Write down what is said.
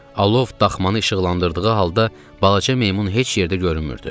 Alov daxmanı işıqlandırdığı halda balaca meymun heç yerdə görünmürdü.